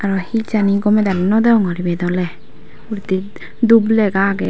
aro he jani gome dale nw degongor ibit ole uguredi dhup lega age.